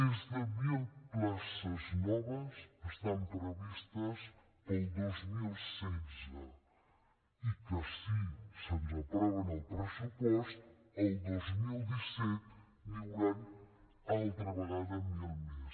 més de mil places noves estan previstes per al dos mil setze i si ens aproven el pressupost el dos mil disset n’hi hauran altra vegada mil més